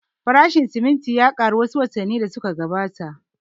Farashin siminti ya ƙaru wa su watanni da su ka gabata